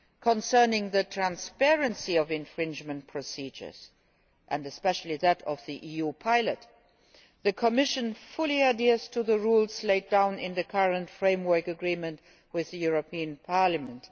Concerning the transparency of infringement procedures, and especially that of the EU pilot, the Commission fully adheres to the rules laid down in the current framework agreement with the European Parliament.